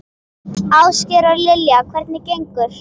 Ásgeir: Og Lilja, hvernig gengur?